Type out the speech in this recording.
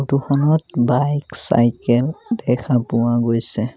Photo খনত bike cycle দেখা পোৱা গৈছে।